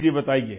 जी जी बताइए